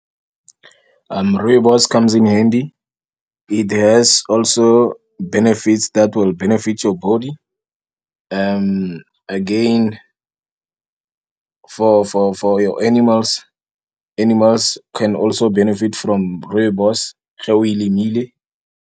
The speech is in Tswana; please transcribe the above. Rooibos-e, it comes in handy. It has also benefits that will benefit your body. Again, for-for-for your animals, animals can also benefit from rooibos-e, ge o e lemile.